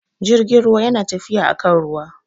Jirgin ruwa yana tafiya akan ruwa